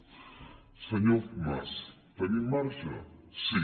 senyor mas tenim marge sí